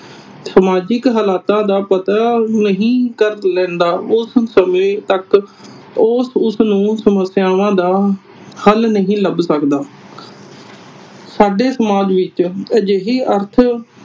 ਸਮਾਜਿਕ ਹਾਲਾਤਾਂ ਦਾ ਪਤਾ ਨਹੀਂ ਕਰ ਲੈਂਦਾ ਉਸ ਸਮੇਂ ਤੱਕ ਉਹ ਉਸਨੂੰ ਸਮੱਸਿਆਵਾਂ ਦਾ ਹਲ ਨਹੀ ਲੱਭ ਸਕਦਾ। ਸਾਡੇ ਸਮਾਜ ਵਿਚ ਅਜਿਹੇ ਅਰਥ